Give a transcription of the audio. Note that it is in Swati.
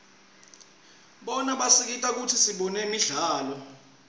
bona basisita kutsi sibone imidlalo